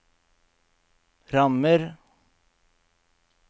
rammer